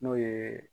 N'o ye